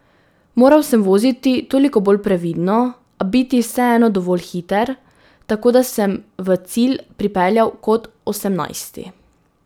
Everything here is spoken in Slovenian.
Moral sem voziti toliko bolj previdno, a biti vseeno dovolj hiter, tako da sem v cilj pripeljal kot osemnajsti.